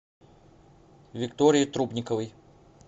виктории трубниковой